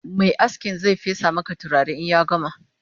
Mai askin Zai fesa Maka turare in ya gama